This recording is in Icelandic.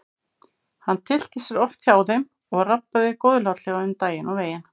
Hann tyllti sér oft hjá þeim og rabbaði góðlátlega um daginn og veginn.